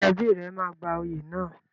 Ṣé ẹbí rẹ máa gba oyè náà?